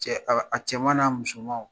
Cɛ a ka a cɛman n'a musomanw